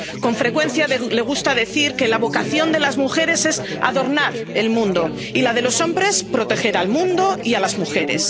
Con frecuencia le gusta decir que la vocación de las mujeres es adornar el mundo, y la de los hombres, proteger al mundo y a las mujeres.